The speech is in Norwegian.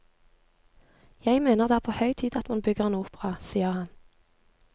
Jeg mener det er på høy tid at man bygger en opera, sier han.